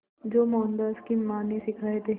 जो मोहनदास की मां ने सिखाए थे